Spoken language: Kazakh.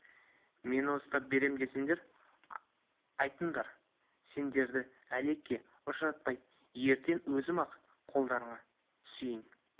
мені ұстап берем десеңдер айтыңдар сендерді әлекке ұшыратпай ертең өзім-ақ қолдарына түсейін